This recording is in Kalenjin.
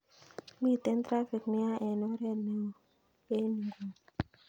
Miten trafik neya en oret neo en nguni